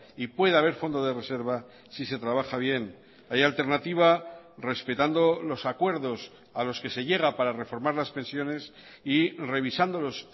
y puede haber fondo de reserva si se trabaja bien hay alternativa respetando los acuerdos a los que se llega para reformar las pensiones y revisándolos